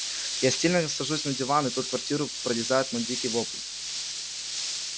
я стильно сажусь на диван и тут квартиру прорезает мой дикий вопль